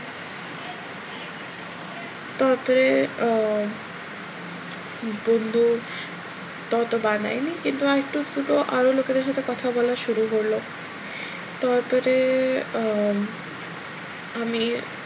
তারপরে আহ বন্ধু ততো বানাইনি কিন্তু আরেকটু আরো লোকেদের সাথে কথা বলা শুরু হলো. তারপরে আহ আমি